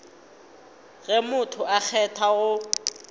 ge motho a kgethwa go